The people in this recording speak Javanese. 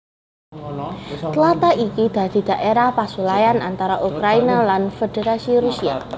Tlatah iki dadi dhaérah pasulayan antara Ukraina lan Fédérasi Rusia